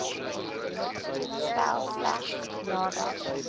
stel slegs nadat